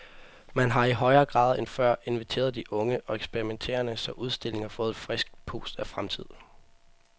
Man har i højere grad end før inviteret de unge og eksperimenterende, så udstillingen har fået et frisk pust af fremtid.